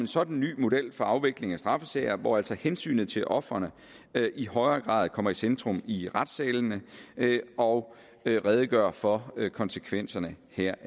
sådan ny model for afvikling af straffesager hvor altså hensynet til ofrene i højere grad kommer i centrum i retssalene og redegøre for konsekvenserne heraf